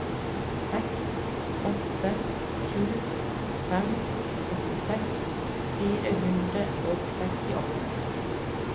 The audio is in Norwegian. seks åtte sju fem åttiseks fire hundre og sekstiåtte